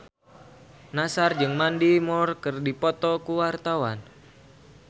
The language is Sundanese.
Nassar jeung Mandy Moore keur dipoto ku wartawan